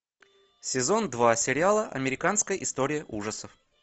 сезон два сериала американская история ужасов